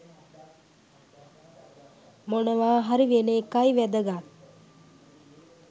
මොනවාහරි වෙන එකයි වැදගත්.